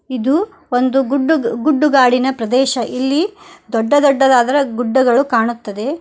ಇದು ಒಂದು ಗುಡ್ಡದ್ - ಗುಡ್ಡುಗಾಡಿನ ಪ್ರದೇಶ ಇಲ್ಲಿ ದೊಡ್ಡ ದೊಡ್ಡದಾದರೆ ಗುಡ್ಡಗಳು ಕಾಣುತ್ತದೆ.